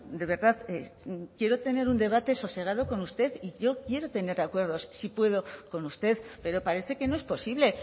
de verdad quiero tener un debate sosegado con usted y yo quiero tener acuerdos si puedo con usted pero parece que no es posible